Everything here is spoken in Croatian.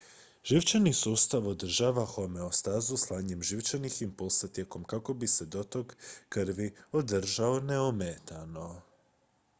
živčani sustav održava homeostazu slanjem živčanih impulsa tijelom kako bi se dotok krvi održao neometano